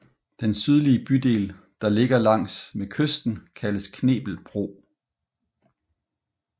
Den sydlige bydel der ligger langs med kysten kaldes Knebel Bro